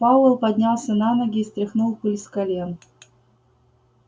пауэлл поднялся на ноги и стряхнул пыль с колен